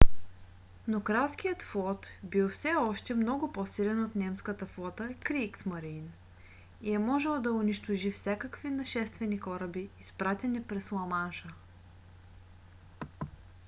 но кралският флот бил все още много по-силен от немската флота kriegsmarine и е можел да унищожи всякакви нашествени кораби изпратени през ламанша